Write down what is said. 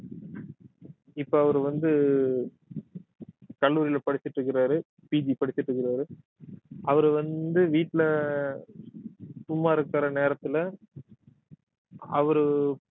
இப்ப அவரு வந்து கல்லூரியில படிச்சுட்டு இருக்குறாரு PG படிச்சுட்டிருக்குறாரு அவரு வந்து வீட்டுல சும்மா இருக்கிற நேரத்துல அவரு